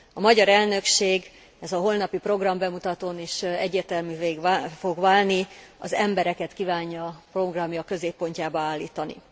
A magyar elnökség, ez a holnapi programbemutatón is egyértelművé fog válni, az embereket kívánja programja középpontjába állítani.